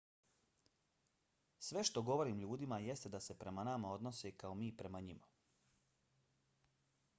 sve što govorim ljudima jeste da se prema nama odnose kao mi prema njima